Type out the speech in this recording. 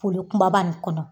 Foli kunbaba nin kɔnɔ